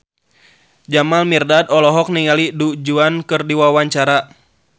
Jamal Mirdad olohok ningali Du Juan keur diwawancara